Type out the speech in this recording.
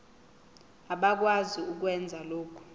abakwazi ukwenza lokhu